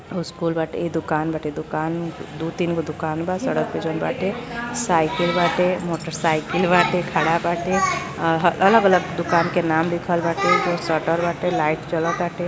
School बाटे दुकान बाटे दुकान दु तीन गो दुकान बा सड़क पे जउन बाटे साइकिल बाटे मोटोरसीकल बाटे खड़ा बाटे अलग-अलग दुकान के नाम लिखल बाटे सटल बाटे लाइट जलअ ताटे।